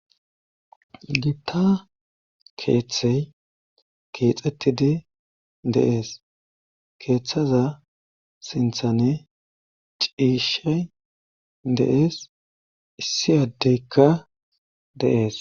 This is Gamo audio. giitta keeththey keexxettidi de7ees keeththaza sinthani ciishay de7ees issi addeykka de7ees